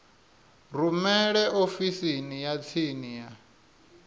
rumele ofisini ya tsini ya